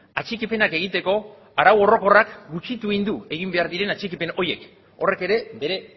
atxikipenak egiteko arau orokorrak gutxitu egin du egin behar diren atxikipen horiek horrek ere bere